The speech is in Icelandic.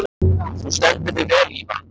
Þú stendur þig vel, Ívan!